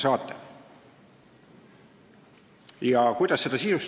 Kuidas seda sisustada?